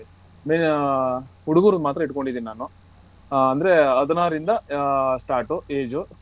ಬರೀ ಅಹ್ ಹುಡುಗುರು ಮಾತ್ರ ಇಟ್ಟಕೋಂಡಿದೀನಿ ನಾನು ಅಹ್ ಅಂದ್ರೆ ಹದಿನಾರ್ ಇಂದ ಅಹ್ start age .